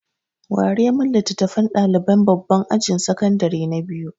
Ware min littafan ɗaliban babban ajin sakandare na biyu!